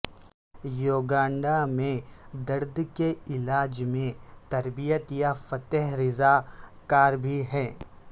Uganda میں درد کے علاج میں تربیت یافتہ رضاکار بھی ہیں